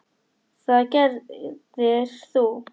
Það gerðir þú.